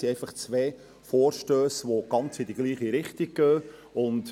Es sind einfach zwei Vorstösse, die genau in dieselbe Richtung gehen.